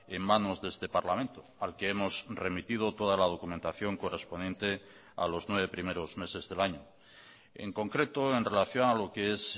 en manos de este parlamento al que hemos remitido toda la documentación correspondiente a los nueve primeros meses del año en concreto en relación a lo qué es